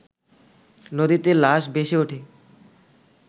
নদীতে লাশ ভেসেওঠে